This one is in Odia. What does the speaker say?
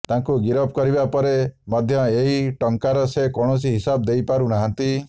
ତାଙ୍କୁ ଗିରଫ କରିବା ପରେ ମଧ୍ୟ ଏହି ଟଙ୍କାର ସେ କୌଣସି ହିସାବ ଦେଇପାରୁ ନାହାଁନ୍ତି